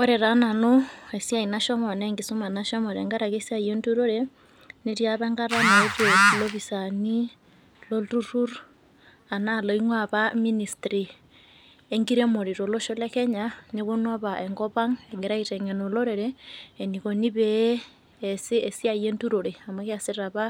Ore taa nanu esiai nashomo anaa enkisuma nashomo tengaraki esiai enturore netii apa enkata naetuo ilopisani lolturrur anaa laing'uaa apa ministry enkiremore tolosho le Kenya nepuonu apa enkopang' egira aiteng'en olorere eneikuni pee easi esiai enturore amu keasita apa,